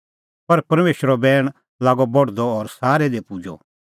पर परमेशरो बैण लागअ बढदअ और सारै दी पुजदअ